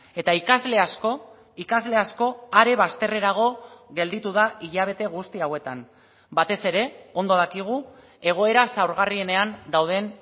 eta ikasle asko ikasle asko are bazterrerago gelditu da hilabete guzti hauetan batez ere ondo dakigu egoera zaurgarrienean dauden